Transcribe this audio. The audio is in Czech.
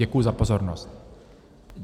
Děkuji za pozornost.